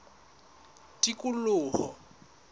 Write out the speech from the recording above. tikoloho